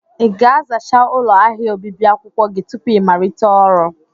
Ị ga-azachaa ụlọ ahịa obibi akwụkwọ gị tupu ịmalite ọrụ?